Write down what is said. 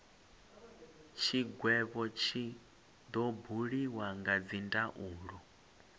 tshigwevho tshi do buliwa kha dzindaulo